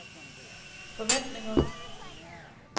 forventninger